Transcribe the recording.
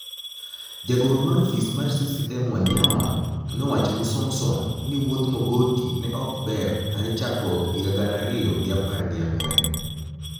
Jagoro mar ofis mar CCM Waniyama nowacho nii somson ni wuodh Mogoti ne ok ber hare chakruok higa gana ariyo gi apar gi angwen